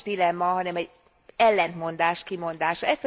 Nem is dilemma, hanem egy ellentmondás kimondása.